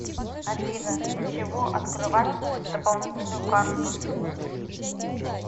афина для чего открывать дополнительную карту